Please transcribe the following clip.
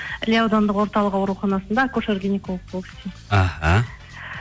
іле аудандық орталық ауруханасында акушер гинеколог болып істеймін іхі